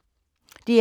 DR K